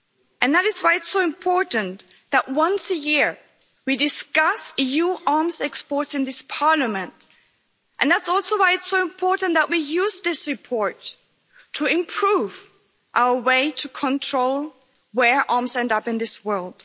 And that is why it's so important that once a year we discuss EU arms exports in this Parliament, and that's also why it's so important that we use this report to improve our way to control where arms end up in this world.